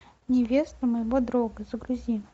невеста моего друга загрузи